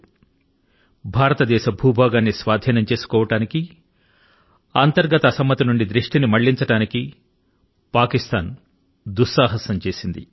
భారతదేశ భూ భాగాన్ని దురాక్రమణ చేయాలనే భ్రమల ను పాకిస్తాన్ మనస్సు లో ఉంచుకొని అక్కడి అంతర్గత కలహాల నుండి ప్రజల దృష్టి ని మళ్ళించడానికి ఈ యొక్క దుస్సాహసాన్ని ఆరంభించింది